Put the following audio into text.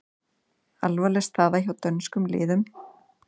Alvarleg staða hjá dönskum liðum